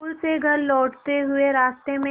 school से घर लौटते हुए रास्ते में